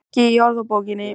Ekki í orðabókinni.